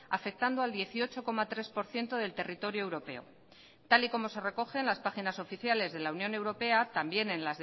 afectando al dieciocho coma tres por ciento del territorio europeo tal y como se recoge en las páginas oficiales de la unión europea también